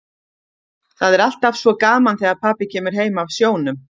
Það er alltaf svo gaman þegar pabbi kemur heim af sjónum.